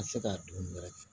Ka se ka don wɛrɛ cɛ